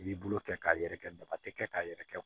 I b'i bolo kɛ k'a yɛrɛkɛ daba tɛ kɛ k'a yɛrɛ kɛ